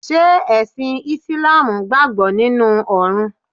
Ṣé ẹ̀sìn ìsláàmù gbàgbọ́ nínu Ọ̀run